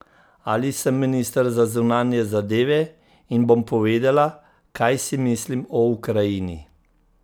Ali sem minister za zunanje zadeve in bom povedala, kaj si mislim o Ukrajini?